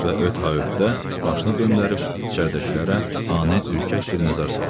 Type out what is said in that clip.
Və öt ha ötdə, başını döndərib içəridəkilərə ani ürkək bir nəzər saldı.